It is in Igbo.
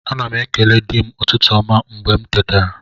Ana m ekele di m n'ụtụtụ ọma mgbe m tetara